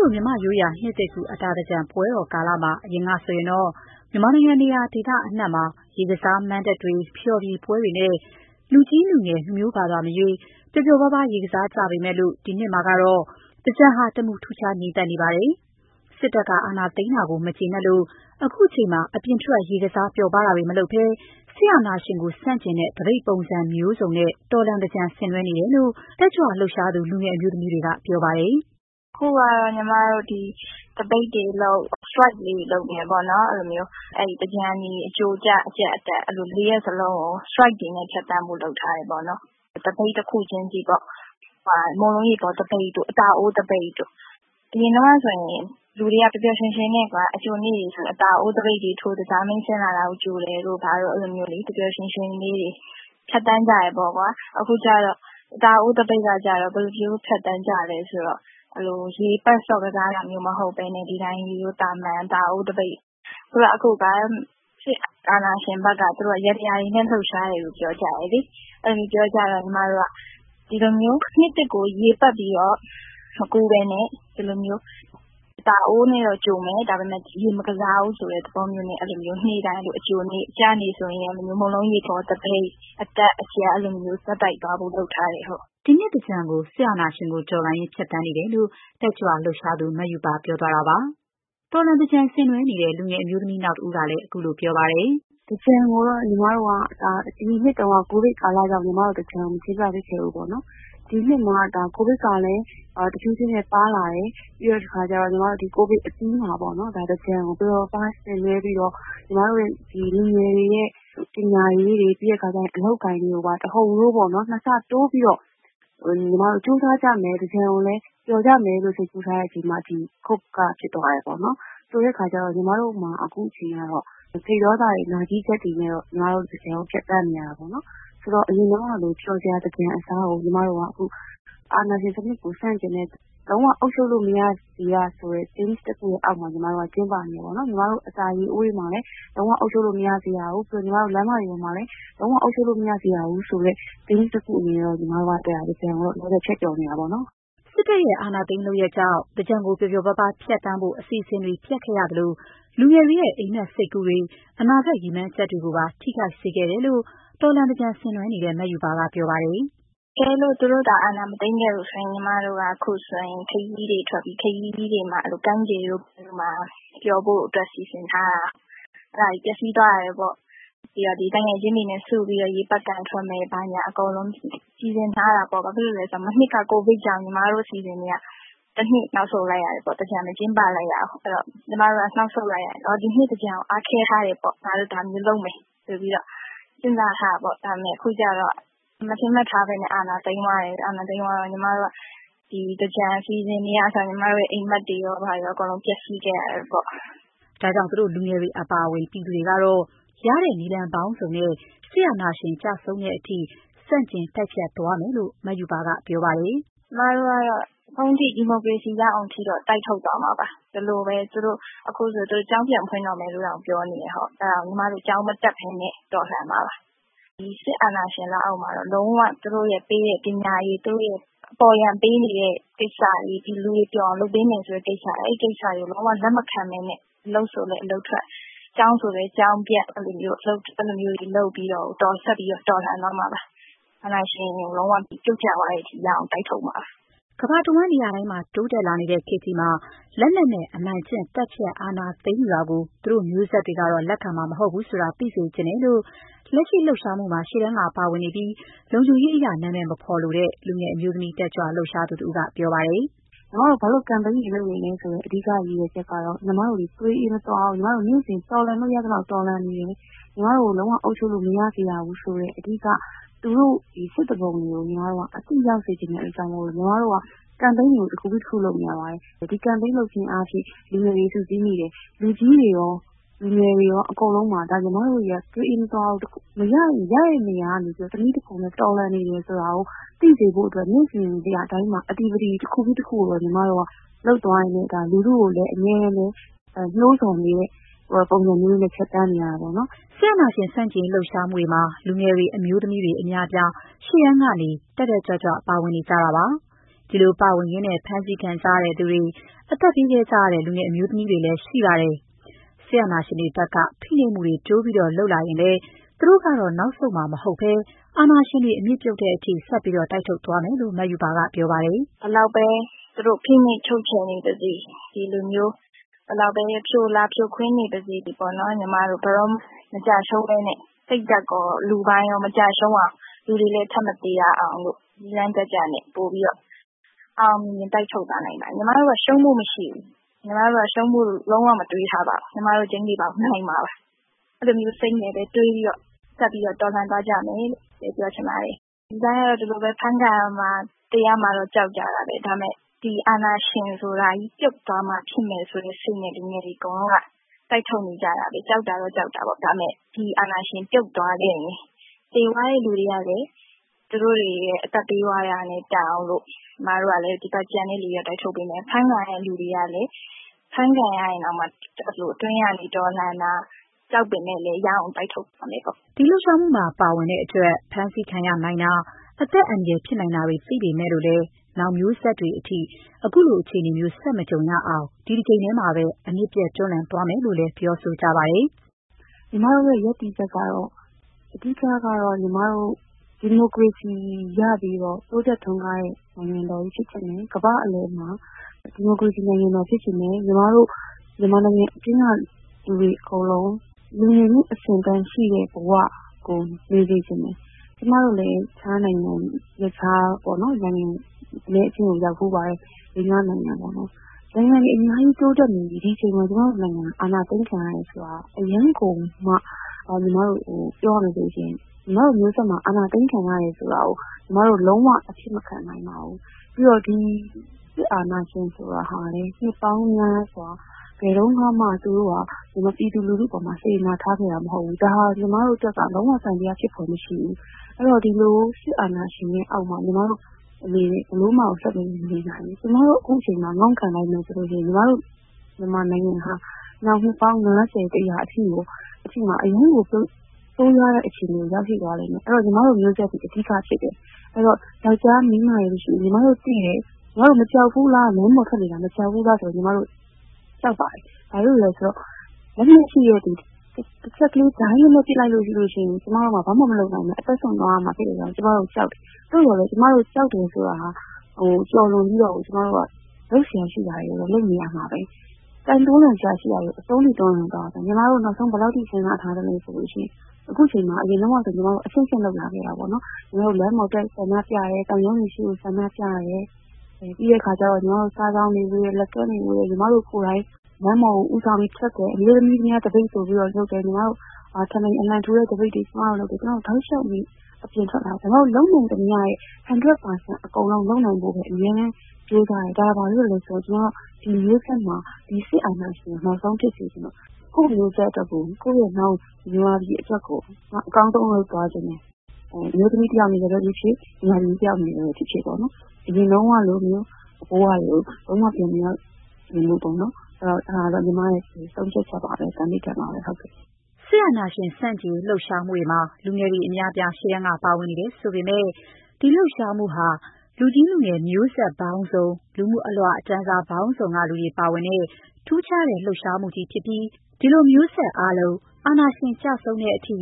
လို မြန်မာ့ရိုးရာ နှစ်သစ်ကူး အတာသင်္ကြန်ပွဲတော် ကာလမှာ အရင်ကဆိုရင်တော့ မြန်မာနိုင်ငံ နေရာဒေသအနှံ့မှာ ရေကစားမဏ္ဍပ်တွေ၊ ဖျော်ဖြေပွဲတွေနဲ့ လူကြီးလူငယ် လူမျိုးဘာသာမရွေး ပျော်ပျော်ပါးပါး ဆင်နွှဲကြပေမဲ့ ဒီနှစ်မှာတော့ သင်္ကြန်ဟာ တမူထူးခြား ငြိမ်သက်နေပါတယ်။ စစ်တပ်က အာဏာသိမ်းတာကို မကျေနပ်လို့ ခုချိန်မှာ အပြင်ထွက် ရေကစား ပျော်ပါးတာတွေ မလုပ်ဘဲ စစ်အာဏာရှင်ကို ဆန့်ကျင်တဲ့ သပိတ်ပုံစံမျိုးစုံနဲ့ တော်လှန်သင်္ကြန် ဆင်နွှဲနေတယ်လို့ တက်ကြွလှုပ်ရှားသူ လူငယ်အမျိုးသမီးတွေက ပြောပါတယ်။ “အခုကတော့ ညီမတို့ သပိတ်တွေလုပ်နေတယ်ပေါ့နော်။ သင်္ကြန် အကြို၊ အကျ၊ အကြတ်၊ အတက် အဲ့လို ၄ ရက်စလုံးကို strike တွေနဲ့ဖြတ်သန်းဖို့ လုပ်ထားတာပါ။ သပိတ်တခုချင်းစီပေါ့။ မုန့်လုံးရေပေါ်သပိတ်တို့၊ အတာအိုးသပိတ်တို့။ အရင်တုန်းကဆိုရင်တော့ လူတွေက ပျော်ပျော်ရွှင်ရွှင်နဲ့ အကြိုနေ့ဆိုရင်လဲ အတာအိုးတွေထိုး၊ သကြားမင်းဆင်းလာတာကို ကြိုတာတို့ ပျော်ပျော်ရွှင်ရွှင်လေးတွေ ဖြတ်သန်းကြတယ်။ အခု အတာအိုးသပိတ် ကတော့ ဘယ်လိုဖြတ်သန်းကြလဲဆိုရင် ရေပတ်ဆော့ကစားတာမျိုးမဟုတ်ဘဲ သာမန် အတာအိုးသပိတ်ပေါ့။ အခု စစ်အာဏာရှင်ဘက်က သူတို့က ယေတြာတွေနဲ့လှုပ်ရှားတယ်လို့ ပြောကြတယ်လေ။ အဲ့ဒီလိုမျိုး ပြောကြတော့ ညီမတို့ကလည်း ဒီလိုမျိုး နှစ်သစ်ကိုရေပတ်ပြီးတော့ မကူးဘဲနဲ့ အတာအိုးနဲ့တော့ ကြိုမယ်။ ဒါပေမဲ့ ရေမကစားဘူးဆိုတဲ့ သဘောမျိုးနဲ့ အဲ့ဒီလို နေ့တိုင်းပေါ့။ အကျနေ့ဆိုရင်တော့ မုန်လုံးရေပေါ်သပိတ်။ အကြတ်၊ အတက် အဲ့ဒီလို ဆက်တိုက်သွားဖို့ လုပ်ထားပါတယ်။” ဒီနှစ်သင်္ကြန်ကို စစ်အာဏာရှင်ကို တော်လှန်ရင်း ဖြတ်သန်းနေတဲ့အကြောင်း လူငယ်တက်ကြွလှုပ်ရှားသူ မရူပါ ပြောသွားတာပါ။ တော်လှန်သင်္ကြန် ဆင်နွှဲနေတဲ့ လူငယ်အမျိုးသမီးနောက်တဦးကလည်း ခုလိုပြောပါတယ်။ “သင်္ကြန်ကိုတော့ ညီမတို့က အရင်နှစ်တုန်းက ကိုဗစ်ကြောင့် သင်္ကြန်ကို မကျင်းပဖြစ်ခဲ့ဘူးပေါ့နော်။ ဒီနှစ်မှာ ကိုဗစ်ကလည်း တဖြည်းဖြည်းနဲ့ ပါးလာတယ်။ ဒီ ကိုဗစ်အပြီးမှာ သင်္ကြန်ကို ပျော်ပျော်ပါးပါး ဆင်နွှဲပြီးတော့ ညီမတို့လူငယ်တွေရဲ့ ပညာရေးတွေ၊ အလုပ်အကိုင်တွေကိုပါ အကုန်လုံးပေါ့ နှစ်ဆတိုးပြီးတော့ ကြိုးစားကြမယ်။ သင်္ကြန်ကိုလည်း ပျော်ကြမယ်လို့ စိတ်ကူးထားတဲ့အချိန်မှာ ဒီ coup က ဖြစ်သွားတယ်ပေါ့နော်။ ဆိုတဲ့အခါကျတော့ ညီမတို့မှာ အခုအချိန်ကတော့ စိတ်ဒေါသတွေ၊ နာကျည်းချက်တွေနဲ့တော့ သင်္ကြန်ကို ဖြတ်သန်းနေကြရတာပေါ့နော်။ ဆိုတော့ အရင်တုန်းကလို ပျော်စရာသင်္ကြန်အစားကို ညီမတို့က အခု အာဏာရှင်စနစ်ကို ဆန့်ကျင်တဲ့၊ သူတို့ လုံးဝအုပ်ချုပ်လို့မရစေရ ဆိုတဲ့ theme တခုအောက်မှာ လှုပ်ရှားနေတယ်ပေါ့နော်။ ညီမတို့ အတာရေအိုးတွေမှာလည်း လုံး၀ အုပ်ချုပ်လို့မရစေရဘူး၊ လမ်းမတွေပေါ်မှာလည်း လုံးဝအုပ်ချုပ်လို့ မရစေရဘူးဆိုတဲ့ theme တခုအနေနဲ့ သင်္ကြန်ကိုတော့ ညီမတို့ ဖြတ်ကျော်နေတာပေါ့နော်။” စစ်တပ်ရဲ့ အာဏာသိမ်းလုပ်ရပ်ကြောင့် သင်္ကြန်ကို ပျော်ပျော်ပါးပါးဖြတ်သန်းဖို့ အစီအစဉ်တွေ ပျက်ခဲ့ရသလို၊ လူငယ်တွေရဲ့ အိပ်မက် စိတ်ကူးတွေ၊ အနာဂတ် ရည်မှန်းချက်တွေကို ထိခိုက်ခဲ့ရတယ်လို့ တော်လှန်သင်္ကြန်ဆင်နွှဲနေတဲ့ မရူပါက ပြောပါတယ်။ “တကယ်လို့ သူတို့သာ အာဏာမသိမ်းခဲ့ဘူးဆိုရင် ညီမတို့က အခုဆိုရင် ခရီးတွေထွက်ပြီ။ ခရီးဆိုတာ ကမ်းခြေလိုနေရာမျိုးမှာ ပျော်ဖို့အတွက် စီစဉ်ထားတာ။ အဲ့ဒါတွေ ပျက်စီးသွားတယ်ပေါ့။ ပြီးတော့ သူငယ်ချင်းတွေနဲ့စုပြီးတော့ ရေပက်ခံထွက်မယ် ဆိုတာတွေလည်း စီစဉ်ထားတာပေါ့။ ဘာဖြစ်လို့လဲဆိုတော့ မနှစ်က ကိုဗစ်ကြောင့် ညီမတို့အစီအစဉ်တွေက တနှစ် နောက်ဆုတ်လိုက်ရတယ်ပေါ့။ သင်္ကြန်မကျင်းပလိုက်ရဘူး။ ဆိုတော့ ဒီနှစ်သင်္ကြန်ကို အားခဲထားတာပေါ့။ ညီမတို့ ဒါမျိုးလုပ်မယ်ဆိုပြီးတော့ စဉ်းစားထားတာပေါ့။ ဒါမပမဲ့ အခုကျတော့ မထင်မှတ်ဘဲ အာဏာသိမ်းသွားတယ်။ အာဏာသိမ်းသွားတော့ ဒီသင်္ကြန် အစီအစဉ်တွေကအစ ညီမတို့ရဲ့ အိပ်မက်တွေရော အကုန်လုံး ပျက်စီးခဲ့ရတယ်ပေါ့။” ဒါကြောင့် သူတို့လူငယ်တွေ အပါအဝင် ပြည်သူတွေကတော့ ရတဲ့နည်းလမ်းပေါင်းစုံနဲ့ စစ်အာဏာရှင် ကျဆုံးတဲ့အထိ ဆန့်ကျင်တိုက်ဖျက်သွား မယ်လို့လည်း မရူပါက ပြောပါတယ်။ “ကျမတို့ကတော့ အဆုံးထိ၊ ဒီမိုကရေစီ ရအောင်ထိတော့ တိုက်ထုတ်သွားမှာပါ။ ဒီလိုပဲ အခုဆိုရင် သူတို့က ကျောင်းပြန်ဖွင့်တော့မယ်လို့တောင် ပြောတယ်။ ညီမတို့ ကျောင်းမတက်ဘဲနဲ့ တော်လှန်မှာပါ။ ဒီစစ်အာဏာရှင်လက်အောက်မှာတော့ လုံး၀ သူတို့ရဲ့ ပေးတဲ့ ပညာရေး၊ သူတို့အပေါ်ယံပေးနေတဲ့ ကိစ္စတွေ၊ လူတွေကို ပျော်အောင်လုပ်ပေးနေတယ်ဆိုတဲ့ ကိစ္စတွေကို လုံး၀ လက်မခံဘဲနဲ့ အလုပ်ဆိုလဲ အလုပ်ထွက်။ ကျောင်းဆိုလည်း ကျောင်းပျက်။ အဲ့ဒီလိုမျိုးတွေ လုပ်ပြီးတော့ ဆက်ပြီးတော့ တော်လှန်သွားမှာပါ။ အာဏာရှင်ကို လုံး၀ ပြုတ်ကျသွားတဲ့အထိ ရအောင် တိုက်ထုတ်မှာပါ။” ကမ္ဘာတဝှမ်း တိုးတက်လာနေတဲ့ ခေတ်ကြီးမှာ လက်နက်နဲ့ အနိုင်ကျင့် သတ်ဖြတ် အာဏာသိမ်းယူတာကို သူတို့မျိုးဆက်တွေကတော့ လက်ခံမှာ မဟုတ်ဘူးဆိုတာ သိစေချင်တယ်လို့ လက်ရှိလှုပ်ရှားမှုတွေမှာ ရှေ့တန်းက ပါဝင်နေပြီး လုံခြုံရေးအရ နာမည်မဖော်ပြလိုတဲ့ လူငယ် အမျိုးသမီး တက်ကြွလှုပ်ရှားသူ တဦးက ပြောပါတယ်။ “ညီမတို့ ဘာလို့ ကန်ပိန်းတွေလုပ်နေလဲ ဆိုတော့ အဓိက ရည်ရွယ်ချက်ကတော့ ညီမတို့သည် သွေးအေးမသွားဘူး။ ညီမတို့သည် နေ့စဉ် တော်လှန်လို့ ရသလောက် တော်လှန်နေမယ်။ ညီမတို့ကို လုံး၀ အုပ်ချုပ်လို့မရစေရဘူးဆိုတဲ့ အဓိက သူတို့စစ်သူပုန်တွေကို အသိရစေချင်တဲ့အတွက် ညီမတို့က ကန်ပိန်းတွေကို တခုပြီးတခု လုပ်နေတာပါပဲ။ ဒီလို ကန်ပိန်းတွေ လုပ်ခြင်းအားဖြင့် လူငယ်တွေ စုစည်းမိတယ်။ လူကြီးတွေရော၊ လူငယ်တွေရော အကုန်လုံးပါပဲ။ ညီမတို့တွေက သွေးအေးမသွားဘူး။ မရရင် ရတဲ့နေရာကနေ တနည်းတဖုံနဲ့ တော်လှန်နေတယ်ဆိုတာကို သိစေဖို့အတွက် နေ့စဉ် နေရာတိုင်းမှာ လှုပ်ရှားမှုတခုပြီး တခုကိုတော့ ညီမတို့က လုပ်သွားရင်းနဲ့ လူထုကိုလည်း အမြဲတမ်း နိုးဆော်တဲ့ပုံစံမျိုးနဲ့ ဖြတ်သန်းနေတာပေါ့နော်။” စစ်အာဏာရှင်ဆန့်ကျင်ရေး လှုပ်ရှားမှုတွေမှာ လူငယ်တွေ၊ အမျိုးသမီးတွေ အများအပြား ရှေ့တန်းကနေ တက်တက်ကြွကြွ ပါဝင်နေကြတာပါ။ ဒီလို ပါဝင်ရင်း ဖမ်းဆီးခံကြရသူတွေ၊ အသက်ပေးခဲ့ကြတဲ့ လူငယ်အမျိုးသမီးတွေလည်း ရှိပါတယ်။ စစ်အာဏာရှင်တွေဘက်က ဖိနှိပ်မှုတွေ တိုးလုပ်လာရင်လဲ သူတို့ကတော့ နောက်ဆုံးမှာမဟုတ်ဘဲ အာဏာရှင်တွေ အမြစ်ပြုတ်တဲ့အထိ တိုက်ထုတ်သွားမယ်လို့ မရူပါက ပြောပါတယ်။ “ဘယ်လောက်ပဲ သူတို့ ဖိနှိပ်ချုပ်ချယ်နေပါစေ။ ဒီလိုမျိုး ဘယ်လိုပဲ ဖြိုလာ ဖြိုခွင်းနေပါစေ ညီမတို့ ဘယ်တော့မှ မကျရှုံးဘဲနဲ့ စိတ်ဓာတ်ရော လူပိုင်းရော မကျရှုံးရအောင် လူတွေလည်း ထပ်မသေရအောင် နည်းလမ်းတကျနဲ့ ပိုပြီးတော့ အောင်အောင်မြင်မြင် တိုက်ထုတ်သွားမှာပါ။ ညီမတို့က ရှုံးဖို့မရှိဘူး။ ညီမတို့ ရှုံးဖို့ လုံး၀ မတွေးထားပါဘူး။ ညီမတို့ ကျိန်းသေပေါက် နိုင်မှာပါ။ အဲ့ဒီလိုစိတ်နဲ့ပဲ ဆက်ပြီးတော့ တော်လှန်သွားကြပါမယ်။ လူတိုင်းကတော့ ဒီလိုပဲ အဖမ်းခံရမှာ သေရမှာတော့ ကြောက်ကြတာပဲ။ ဒါပေမဲ့ ဒီအာဏာရှင်ဆိုတာကြီး ပြုတ်သွားမှဖြစ်မယ်ဆိုတဲ့ စိတ်နဲ့ လူငယ်တွေ အကုန်လုံးက တိုက်ထုတ်နေကြတာပဲ။ ကြောက်တာကတော့ ကြောက်တာပေါ့။ ဒါပေမဲ့ ဒီအာဏာရှင် ပြုတ်သွားခဲ့ရင် သေသွားတဲ့သူတွေကလည်း သူတို့တွေရဲ့ အသက်ပေးသွားခဲ့ရတာနဲ့ တန်အောင်လို့ ညီမတို့ကျန်တဲ့ သူတွေက တိုက်ထုတ်ပေးမယ်။ အဖမ်းခံရတဲ့သူတွေကလည်း အဖမ်းခံရရင်တောင် အတွင်းကနေ တော်လှန်တာ။ ကြောက်ပေမယ့်လဲ ရအောင် တိုက်ထုတ်သွားမယ်ပေါ့။” ဒီလှုပ်ရှားမှုမှာ ပါဝင်တဲ့အတွက် ဖမ်းဆီးခံရနိုင်တာ၊ အသက်အန္တရာယ် ဖြစ်နိုင်တာတွေ သိပေမဲ့လို့လည်း၊ နောင်မျိုးဆက်တွေအထိ ဒီလိုအခြေအနေမျိုး ဆက်မကြုံရအောင် ဒီတကြိမ်မှာပဲ အမြစ်ပြတ် တွန်းလှန်သွားမယ်လို့လည်း ပြောဆိုကြပါတယ်။ “ညီမတို့ရဲ့ ရပ်တည်ချက် ကတော့၊ အဓိက က ဒီမိုကရေစီရပြီးတော့ တိုးတက်ထွန်းကားတဲ့ နိုင်ငံတော်ကြီး ဖြစ်ချင်တယ်။ ကမ္ဘာ့အလယ်မှာ ဒီမိုကရေစီနိုင်ငံ ဖြစ်ချင်တယ်။ ညီမတို့ မြန်မာနိုင်ငံအတွင်းကလူတွေ အကုန်လုံး လူနေမှုအဆင့်အတန်းရှိတဲ့ဘဝကို နေစေချင်တယ်။ ကျမတို့လည်း တခြားနိုင်ငံရပ်ခြား နိုင်ငံအနည်းအကျဉ်းကို ရောက်ဖူးပါတယ်။ လေး-ငါး နိုင်ငံပေါ့နော်။ နိုင်ငံတွေ အများကြီးတိုးတက်နေပြီ။ ဒီအချိန်မှာ ကျမတို့နိုင်ငံမှာ အာဏာသိမ်းခံရတယ် ဆိုတာက အရမ်းကိုမှ ညီမတို့ပြောရမယ်ဆိုရင်၊ ညီမတို့မျိုးဆက်မှာ အာဏာသိမ်းခံရတယ်ဆိုတာကို လုံး၀ အဖြစ်မခံနိုင်ပါဘူး။ ပြီးတော့ ဒီစစ်အာဏာရှင် ဆိုတာဟာ နှစ်ပေါင်းများစွာ ဘယ်တုန်းကမှ ပြည်သူလူထုပေါ်မှာ စေတနာထားခဲ့တာမဟုတ်ဘူး။ ဒါဟာ ညီမတို့အတွက်က လုံး၀ သံသယဖြစ်ဖွယ် မရှိဘူး။ ဆိုတော့ ဒီလို စစ်အာဏာရှင်ရဲ့အောက်မှာ ညီမတို့ ဘယ်လိုမှ ဆက်ပြီးတော့ မနေနိုင်ဘူး။ ညီမတို့ ခုချိန်မှာ ငုံ့ခံလိုက်မယ်ဆိုရင် ညီမတို့ မြန်မာနိုင်ငံဟာ နောင် နှစ်ပေါင်း ၅၀၊ ၁၀၀ အထိကို အရမ်းကို ဆိုးရွားတဲ့ အခြေအနေကို ရောက်ရှိသွားလိမ့်မယ်။ ဆိုတော့ ညီမတို့ မျိုးဆက်သည် အဓိက ဖြစ်တယ်။ အဲ့တော့ ယောက်ျား၊ မိန်းမတွေ မရှိဘူး။ ညီမတို့သိတယ်။ ညီမတို့မကြောက်ဘူးလား လမ်းပေါ်ထွက်နေတာ ဆိုရင် ညီမတို့ ကြောက်ပါတယ်။ ဘာလို့လဲ ဆိုတော့ လက်နက်ရှိတဲ့သူ တချက်ကလေး ဒိုင်းခနဲ တချက်ပစ်လိုက်လို့ရှိရင် ကျမတို့မှာ ဘာမှ မလုပ်နိုင်ဘဲ အသက်စွန့်သွားရမှာ သိတဲ့အတွက်ကြောင့် ကျမတို့ ကြောက်တယ်။ သို့သော် ကျမတို့ ကြောက်တယ်ဆိုတာကို ကျော်လွန်ပြီးတော့ လုပ်စရာရှိတာတွေကိုတော့ လုပ်နေရမှာပဲ။ တွန်းလှန်စရာ ရှိတာတွေကို အဆုံးစွန် တွန်းလှန်သွားရမယ်။ ညီမတို့ နောက်ဆုံး ဘယ်လောက်အထိ စဉ်းစားထားသလဲ ဆိုရင်၊ အခုချိန်မှာ ညီမတို့ အဆင့်ဆင့် လုပ်လာခဲ့တာပေါ့နော်။ ညီမတို့ လမ်းပေါ်ထွက် ဆန္ဒပြတယ်။ သံရုံးတွေရှေ့ ဆန္ဒပြတယ်။ ပြီးတဲ့အခါ စာစောင်တွေ ဝေတယ်။ လက်ကမ်းတွေ ဝေတယ်။ ညီမတို့ကိုယ်တိုင် လမ်းပေါ် ဦးဆောင် ထွက်တယ်။ အမျိုးသမီးများ သပိတ်ဆိုပြီးလည်း လုပ်တယ်။ ညီမတို့ ထဘီအလံထူတဲ့ သပိတ်တွေလုပ်တယ်။ ကျမတို့ တောက်လေ ျှာက် အပြင်ထွက်လာခဲ့တယ်။ ကျမတို့ လုပ်နိုင်သမ ျှရဲ့ ၁၀၀ % ကို လုပ်နိုင်ဖို့ပဲ အမြဲတမ်းကြိုးစားတယ်။ ဒါဟာ ဘာဖြစ်လို့လဲ ဆိုရင် ကျမတို့ ဒီမျိုးဆက်မှာ ဒီစစ်အာဏာရှင်ကို နောက်ဆုံး ဖြစ်စေချင်လို့။ ကိုယ့်မျိုးဆက်အတွက်၊ ကိုယ့်ရဲ့ နောင်မြန်မာပြည်အတွက်ကို ကျမ အကောင်းဆုံး လုပ်သွားချင်တယ်။ အမျိုးသမီးတယောက် အနေနဲ့ပဲဖြစ်ဖြစ်၊ မြန်မာပြည်သူ တယောက် အနေနဲ့ပဲဖြစ်ဖြစ်ပေါ့နော်။ အရင်တုန်းကလိုမျိုး ဘဝတွေကို လုံး၀ ပြန်မေရောက် စေချင်တော့ဘူးပေါ့နော်။ အဲ့ဒါကတော့ ညီမရဲ့ ဆုံးဖြတ်ချက် သန္နဌာန်ပါပဲ။” ဒီကနေ့ စစ်အာဏာရှင်ဆန့်ကျင်ရေး လှုပ်ရှားမှုတွေမှာ လူငယ်တွေ အများအပြား ရှေ့တန်းက ပါဝင်နေတယ်ဆိုပေမဲ့ ဒီလှုပ်ရှားမှုဟာ လူကြီး လူလတ် လူငယ် မျိုးဆက်ပေါင်းစုံ၊ လူမှုအလွှာတန်းစား ပေါင်းစုံက ပါဝင်တဲ့၊ ထူးခြားတဲ့ လှုပ်ရှားမှုကြီး ဖြစ်ပြီး ဒီလို မျိုးဆက်အားလုံး အာဏာရှင်တွေ ကျဆုံးတဲ့အထိ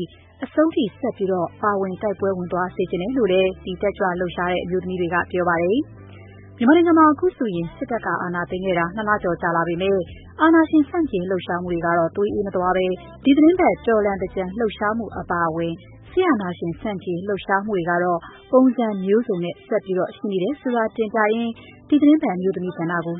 အဆုံးထိ ဆက်ပြီး ပါဝင်တိုက်ပွဲဝင်စေချင်တယ်လို့လည်း ဒီလူငယ်အမျိုးသမီးတွေက ပြောပါတယ်။ မြန်မာနိုင်ငံမှာ အခုဆိုရင် စစ်တပ်က အာဏာသိမ်းခဲ့တာ ၂ လကျော်ကြာလာပေမဲ့ အာဏာရှင်ဆန့်ကျင်ရေး လှုပ်ရှားမှုတွေကတော့ သွေးအေးမသွားဘဲ၊ ဒီသီတင်းပတ် တော်လှန်သင်္ကြန် လှုပ်ရှားမှုတွေ အပါအဝင် စစ်အာဏာရှင်ဆန့်ကျင်ရေး လှုပ်ရှားမှုတွေကတော့ ပုံစံမျိုးစုံနဲ့ ဆက်ရှိနေတယ်ဆိုတာ တင်ပြရင်း ဒီသီတင်းပတ်အမျိုးသမီးကဏ္ဍကိ